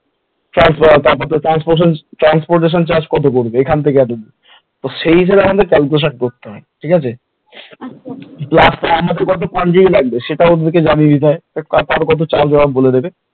transportation charge কত পড়বে এখন থেকে এতদূর সেই হিসেবে আমাকে calculation করতে হবে ঠিক আছে plus কত লাগবে সেটাও ওদের কে জানিয়ে দিতে হয় তারপর কত charge ওরা বলে দেবে